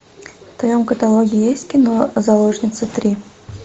в твоем каталоге есть кино заложницы три